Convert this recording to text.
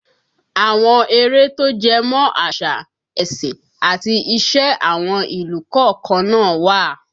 Àwọn eré tó jẹmọ̀ àṣà, ẹ̀sìn àti ìṣe àwọn ìlú kọ̀ọ̀kan náà wà